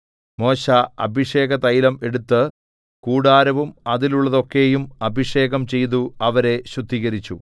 മോശെ അഭിഷേകതൈലം എടുത്ത് കൂടാരവും അതിലുള്ളതൊക്കെയും അഭിഷേകം ചെയ്തു അവരെ ശുദ്ധീകരിച്ചു